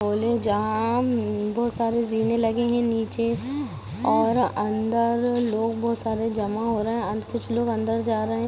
ओले जहाँ मम्म्म बोहत सारे ज़ीने लगे है नीचे और अंदर लोग बोहत सारे जमा हो रहे है अंद-कुछ लोग अंदर जा रहे है।